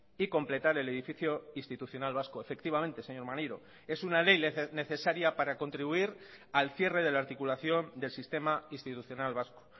y completar el edificio institucional vasco efectivamente señor maneiro es una ley necesaria para contribuir al cierre de la articulación del sistema institucional vasco